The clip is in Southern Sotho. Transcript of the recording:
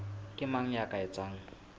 ke mang ya ka etsang